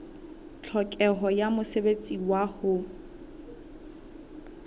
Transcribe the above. tlhokeho ya mosebetsi wa ho